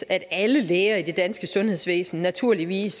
at alle læger i det danske sundhedsvæsen naturligvis